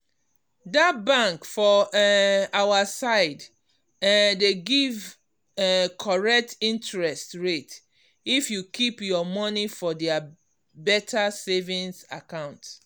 that bank for um our side um dey give um correct interest rate if you keep your money for their better savings account.